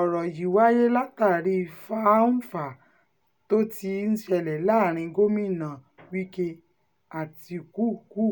ọ̀rọ̀ yìí wáyé látàrí fá-n-fà-á tó ti ń ṣẹlẹ̀ láàrin gómìnà wike àtikukú